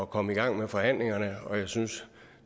komme i gang med forhandlingerne og jeg synes